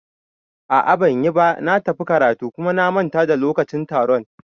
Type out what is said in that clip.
A'a banyiba, na tafi karatu kuma na manta da lokacin taron